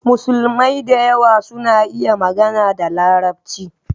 Musulmai da yawa suna iya magana da Larabci